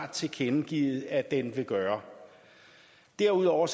har tilkendegivet at den vil gøre derudover